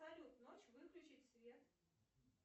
салют ночь выключить свет